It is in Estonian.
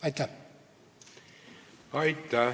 Aitäh!